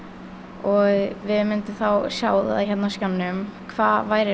og við myndum þá sjá á skjánum hvað væri